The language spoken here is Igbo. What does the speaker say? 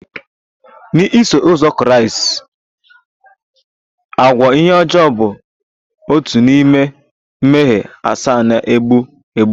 Na Iso uzọ Kraịst, agụụ ihe ọjọọ bụ otu n'ime mmehie asaa na-egbu egbu